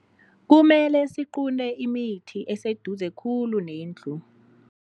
Kumele siqunte imithi eseduze khulu nendlu.